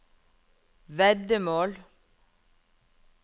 veddemål